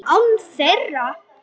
Án þeirra.